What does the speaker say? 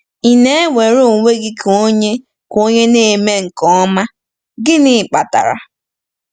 Ị na-ewere onwe gị ka onye ka onye na-eme nke ọma? Gịnị kpatara?